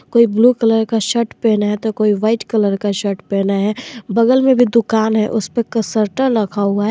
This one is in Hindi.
कोई ब्लू कलर का शर्ट पहना है तो कोई व्हाइट कलर का शर्ट पहना है बगल में भी दुकान है उसपे कशटल रखा हुआ है।